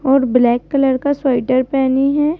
और black colour का sweater पहनी है।